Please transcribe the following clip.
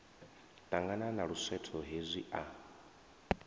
ṱangana na luswetho hezwi a